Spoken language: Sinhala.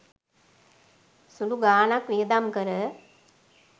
සුළු ගානක් වියදම් කර